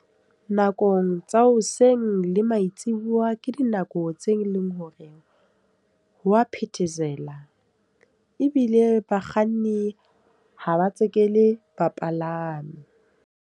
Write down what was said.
Nakong tsa hoseng le maitsibuya. Ke dinako tse leng hore ha wa phethesela. Ebile bakganni ha ba tseke le bapalami.